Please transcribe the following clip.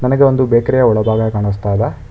ನನಗೆ ಒಂದು ಬೇಕರಿ ಯ ಒಳಭಾಗ ಕಾನಸ್ತಾ ಇದೆ.